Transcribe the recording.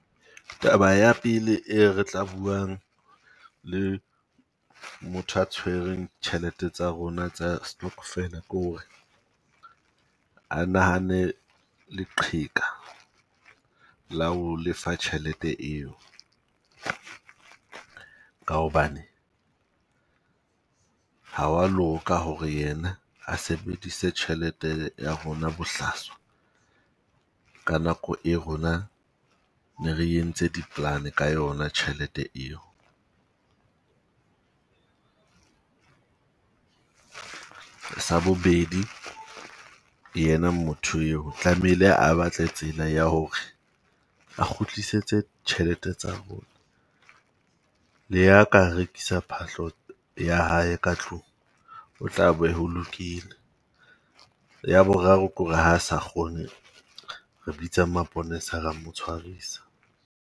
Taba ya pele e re tla buang le motho a tshwereng tjhelete tsa rona tsa stockvel-e ke hore a nahane leqheka la ho lefa tjhelete eo. Ka hobane ha wa loka hore yena a sebedise tjhelete ya rona bohlaswa. Ka nako e rona ne re entse di-plan-e ka yona tjhelete eo. Sa bobedi yena motho eo tlamehile a batle tsela ya hore, a kgutlisetse tjhelete tsa rona. Le ha ka rekisa phahlo ya hae ka tlung, o tla be ho lokile. Ya boraro ke hore ha sa kgone re bitsa maponesa ra mo tshwarisa.